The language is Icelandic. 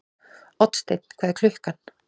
Oddsteinn, hvað er klukkan?